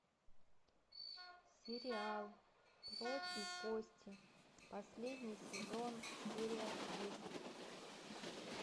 сериал плоть и кости последний сезон серия десять